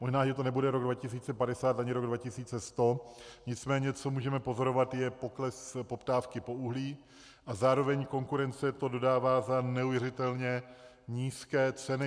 Možná že to nebude rok 2050 ani rok 2100, nicméně co můžeme pozorovat, je pokles poptávky po uhlí a zároveň konkurence to dodává za neuvěřitelně nízké ceny.